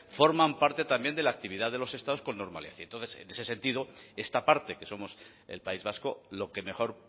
forman parte también de la actividad de los estados con normalidad y entonces en ese sentido esta parte que somos el país vasco lo que mejor